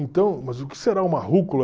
Então, mas o que será uma rúcula?